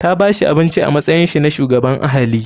Ta bashi abinci a matsayinsa na shugaban ahali.